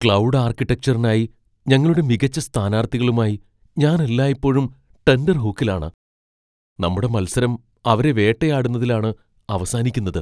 Cloud ആർക്കിടെക്ചറിനായി ഞങ്ങളുടെ മികച്ച സ്ഥാനാർത്ഥികളുമായി ഞാൻ എല്ലായ്പ്പോഴും ടെൻറർഹൂക്കിലാണ്. നമ്മുടെ മത്സരം അവരെ വേട്ടയാടുന്നതിലാണ് അവസാനിക്കുന്നത്.